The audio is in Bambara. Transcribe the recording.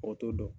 Mɔgɔw t'o dɔn